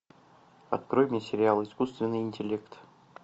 открой мне сериал искусственный интеллект